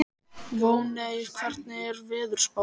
Voney, hvernig er veðurspáin?